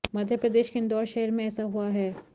मध्यप्रदेश के इंदौर शहर में ऐसा हुआ है